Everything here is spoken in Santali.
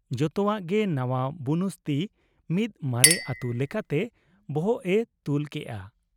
ᱡᱚᱛᱚᱣᱟᱜ ᱜᱮ ᱱᱟᱶᱟ ᱵᱩᱱᱩᱥᱛᱤ ᱢᱤᱫ ᱢᱟᱨᱮ ᱟᱹᱛᱩ ᱞᱮᱠᱟᱛᱮ ᱵᱚᱦᱚᱜ ᱮ ᱛᱩᱞ ᱠᱮᱜ ᱟ ᱾